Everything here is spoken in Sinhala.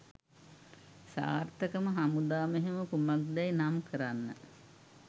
සාර්ථකම හමුදා මෙහෙයුම කුමක්දැයි නම් කරන්න.